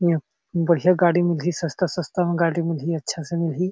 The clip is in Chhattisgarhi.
इहाँ बढ़िया गाड़ी मिलही सस्ता-सस्ता में गाड़ी मिलही अच्छा से मिलही--